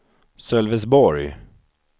Sölvesborg